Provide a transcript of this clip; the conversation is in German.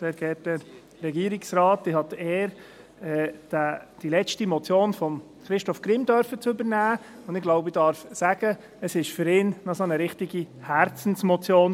Ich habe die Ehre, die letzte Motion von Christoph Grimm übernehmen zu dürfen, und ich glaube, ich darf sagen, es war für ihn eine richtige Herzensmotion.